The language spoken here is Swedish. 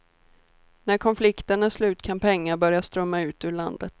När konflikten är slut kan pengar börja strömma ut ur landet.